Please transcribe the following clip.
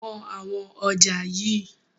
Wọn àwọn ọjà yii!